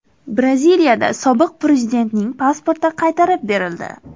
Braziliyada sobiq prezidentning pasporti qaytarib berildi.